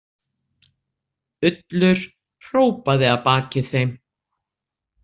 Ullur hrópaði að baki þeim.